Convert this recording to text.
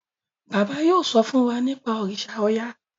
bàbá yóò so fún wá nipa òrìṣà oya.